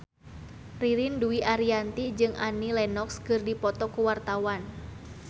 Ririn Dwi Ariyanti jeung Annie Lenox keur dipoto ku wartawan